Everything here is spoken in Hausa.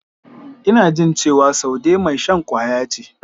Ina jin cewa Saude mai shan kwaya ce.